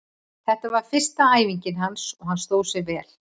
Þetta var fyrsta æfingin hans og hann stóð sig vel.